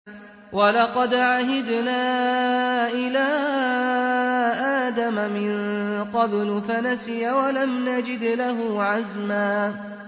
وَلَقَدْ عَهِدْنَا إِلَىٰ آدَمَ مِن قَبْلُ فَنَسِيَ وَلَمْ نَجِدْ لَهُ عَزْمًا